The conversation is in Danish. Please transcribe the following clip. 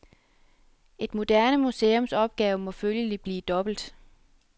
Et moderne museums opgave må følgelig blive dobbelt.